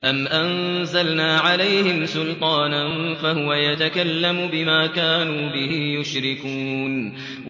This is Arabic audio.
أَمْ أَنزَلْنَا عَلَيْهِمْ سُلْطَانًا فَهُوَ يَتَكَلَّمُ بِمَا كَانُوا بِهِ يُشْرِكُونَ